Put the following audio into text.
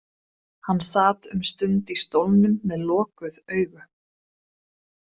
Hann sat um stund í stólnum með lokuð augu.